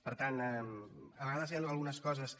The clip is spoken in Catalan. per tant a vegades hi han algunes coses que